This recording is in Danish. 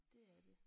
Det er det